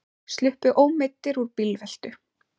Sluppu ómeiddir úr bílveltu